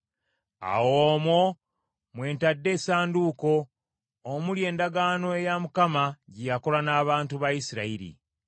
Era omwo mwe ntadde essanduuko, omuli endagaano eya Mukama ggye yakola n’abantu ba Isirayiri.”